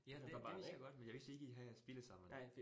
Ja, det det vidste jeg godt, men jeg vidste ikke, I havde spillet sammen